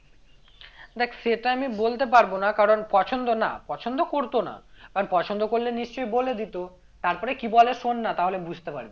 দেখ সেটা আমি বলতে পারবো না কারণ পছন্দ না পছন্দ করতো না কারণ পছন্দ করলে নিশ্চই বলে দিতো তারপরে কি বলে শোন না তাহলে বুঝতে পারবি হ্যাঁ হ্যাঁ বল তারপরে বললো আমি পাঠালাম নিয়ে